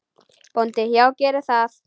BÓNDI: Já, gerið það.